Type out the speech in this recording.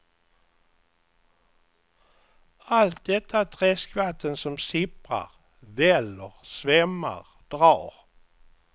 Allt detta träskvatten som sipprar väller svämmar drar.